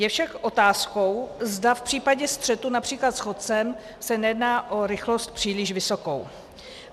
Je však otázkou, zda v případě střetu například s chodcem se nejedná o rychlost příliš vysokou.